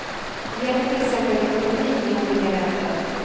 Det gäller till exempel ekonomin i olika länder.